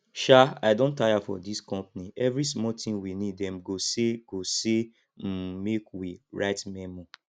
um i don tire for dis company every small thing we need dem go say go say um make we write memo